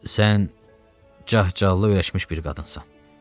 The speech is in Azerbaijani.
Sən cah-cəllalı öyrəşmiş bir qadınsan.